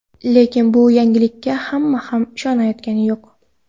Lekin bu yangilikka hamma ham ishonayotgani yo‘q.